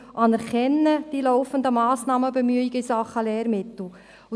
Wir anerkennen die laufenden Massnahmen und Bemühungen in Sachen Lehrmittel.